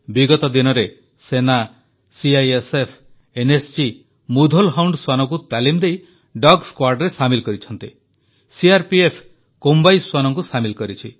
ବିଗତ ଦିନରେ ସେନା ସିଆଇଏସ୍ଏଫ୍ ଏନ୍ଏସ୍ଜି ମୁଧୋଲ୍ ହାଉଣ୍ଡ୍ ଶ୍ୱାନଙ୍କୁ ତାଲିମ ଦେଇ ଡଗ୍ squadରେ ସାମିଲ୍ କରିଛନ୍ତି ସିଆର୍ପିଏଫ୍ କୋମ୍ବାଇ ଶ୍ୱାନଙ୍କୁ ସାମିଲ୍ କରିଛି